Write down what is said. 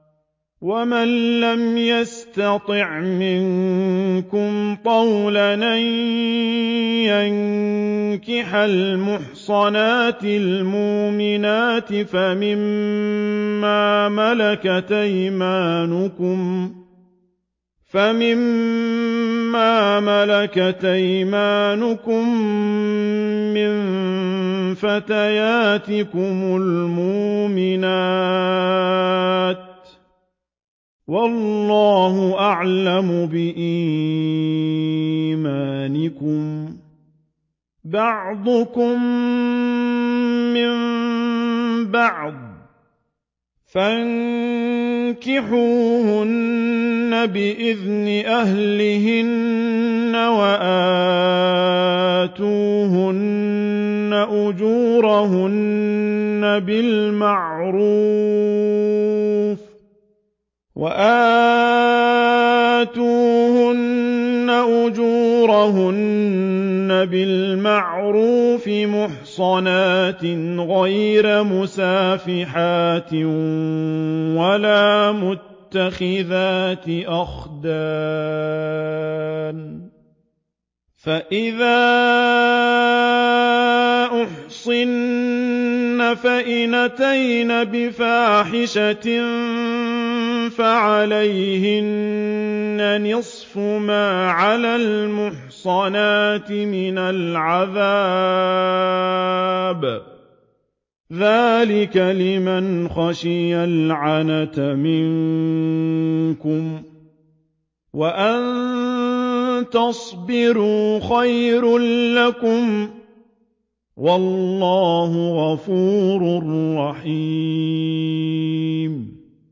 وَمَن لَّمْ يَسْتَطِعْ مِنكُمْ طَوْلًا أَن يَنكِحَ الْمُحْصَنَاتِ الْمُؤْمِنَاتِ فَمِن مَّا مَلَكَتْ أَيْمَانُكُم مِّن فَتَيَاتِكُمُ الْمُؤْمِنَاتِ ۚ وَاللَّهُ أَعْلَمُ بِإِيمَانِكُم ۚ بَعْضُكُم مِّن بَعْضٍ ۚ فَانكِحُوهُنَّ بِإِذْنِ أَهْلِهِنَّ وَآتُوهُنَّ أُجُورَهُنَّ بِالْمَعْرُوفِ مُحْصَنَاتٍ غَيْرَ مُسَافِحَاتٍ وَلَا مُتَّخِذَاتِ أَخْدَانٍ ۚ فَإِذَا أُحْصِنَّ فَإِنْ أَتَيْنَ بِفَاحِشَةٍ فَعَلَيْهِنَّ نِصْفُ مَا عَلَى الْمُحْصَنَاتِ مِنَ الْعَذَابِ ۚ ذَٰلِكَ لِمَنْ خَشِيَ الْعَنَتَ مِنكُمْ ۚ وَأَن تَصْبِرُوا خَيْرٌ لَّكُمْ ۗ وَاللَّهُ غَفُورٌ رَّحِيمٌ